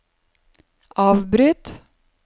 avbryt